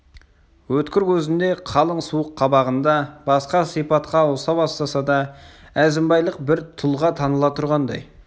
өткір көзінде қалың суық қабағында басқа сипатқа ауыса бастаса да әзімбайлық бір тұлға таныла тұрғандай